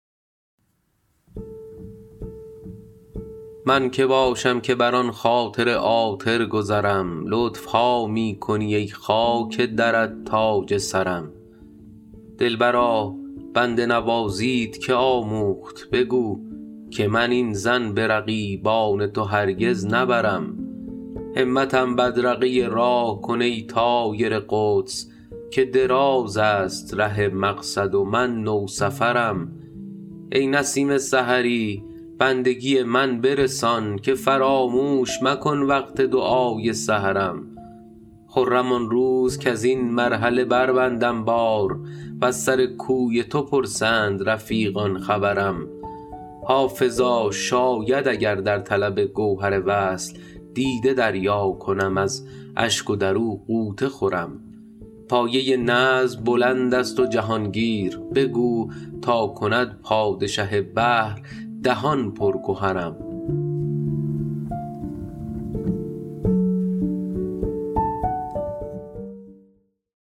من که باشم که بر آن خاطر عاطر گذرم لطف ها می کنی ای خاک درت تاج سرم دلبرا بنده نوازیت که آموخت بگو که من این ظن به رقیبان تو هرگز نبرم همتم بدرقه راه کن ای طایر قدس که دراز است ره مقصد و من نوسفرم ای نسیم سحری بندگی من برسان که فراموش مکن وقت دعای سحرم خرم آن روز کز این مرحله بربندم بار و از سر کوی تو پرسند رفیقان خبرم حافظا شاید اگر در طلب گوهر وصل دیده دریا کنم از اشک و در او غوطه خورم پایه نظم بلند است و جهان گیر بگو تا کند پادشه بحر دهان پر گهرم